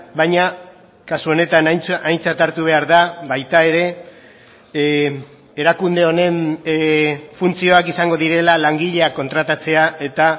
baina kasu honetan aintzat hartu behar da baita ere erakunde honen funtzioak izango direla langileak kontratatzea eta